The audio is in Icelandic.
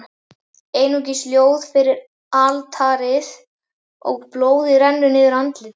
Einungis ljós við altarið, og blóðið rennur niður andlit